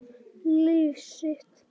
Líf sitt.